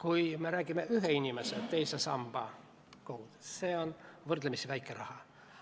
Kui me räägime ühe inimese teisest sambast, siis see on võrdlemisi väike raha,